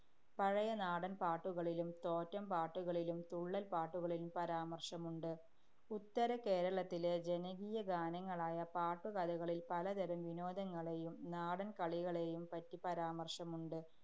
പഴയ നാടന്‍ പാട്ടുകളിലും, തോറ്റം പാട്ടുകളിലും, തുള്ളല്‍പ്പാട്ടുകളിലും പരാമര്‍ശമുണ്ട്. ഉത്തരകേരളത്തിലെ ജനകീയഗാനങ്ങളായ പാട്ടുകഥകളില്‍ പലതരം വിനോദങ്ങളെയും നാടന്‍ കളികളെയും പറ്റി പരാമര്‍ശമുണ്ട്.